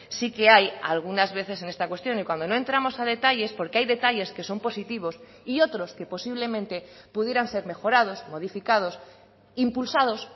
sí que hay algunas veces en esta cuestión y cuando no entramos a detalles porque hay detalles que son positivos y otros que posiblemente pudieran ser mejorados modificados impulsados